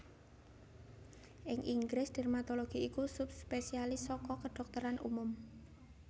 Ing Inggris dermatologi iku subspesialis saka kedhokteran umum